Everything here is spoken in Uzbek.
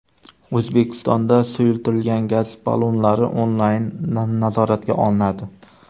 O‘zbekistonda suyultirilgan gaz ballonlari onlayn nazoratga olinadi.